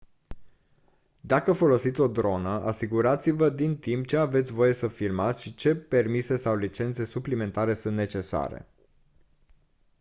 dacă folosiți o dronă asigurați-vă din timp ce aveți voie să filmați și ce permise sau licențe suplimentare sunt necesare